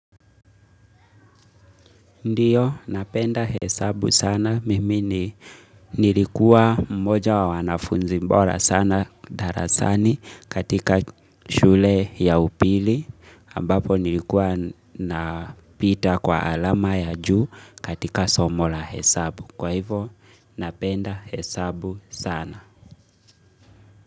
Ndiyo napenda hesabu sana mimi ni nilikuwa mmoja wa wanafunzi bora sana darasani katika shule ya upili ambapo nilikuwa napita kwa alama ya juu katika somo la hesabu. Kwa hivyo napenda hesabu sana.